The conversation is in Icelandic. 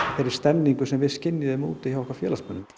þeirri stemningu sem við skynjuðum hjá okkar félagsmönnum